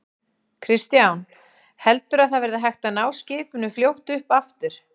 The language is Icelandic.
Kristján: Heldurðu að það verði hægt að ná skipinu fljótt upp aftur?